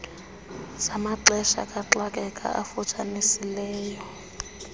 zamaxesha kaxakeka afutshanisileyo